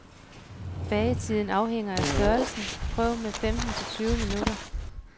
Bagetiden afhænger af størrelsen, prøv med femten til tyve minutter.